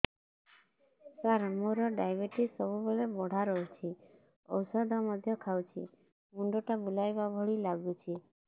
ସାର ମୋର ଡାଏବେଟିସ ସବୁବେଳ ବଢ଼ା ରହୁଛି ଔଷଧ ମଧ୍ୟ ଖାଉଛି ମୁଣ୍ଡ ଟା ବୁଲାଇବା ଭଳି ଲାଗୁଛି